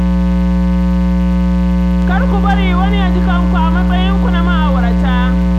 Kar ku bari wani ya ji kanku a matsayinku na ma'aurata.